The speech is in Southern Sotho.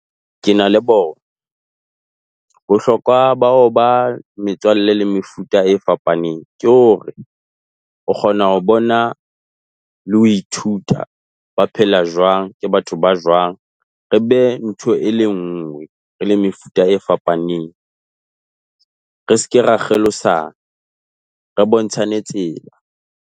Ke na le bona. Bohlokwa ba ho ba metswalle le mefuta e fapaneng ke hore o kgona ho bona le ho ithuta ba phela jwang. Ke batho ba jwang. Re be ntho e le nngwe, re le mefuta e fapaneng, re se ke ra kgelosa, re bontshane tsela.